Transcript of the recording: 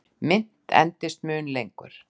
Mynt endist mun lengur.